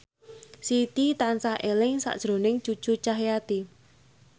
Siti tansah eling sakjroning Cucu Cahyati